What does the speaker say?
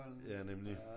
Ja nemlig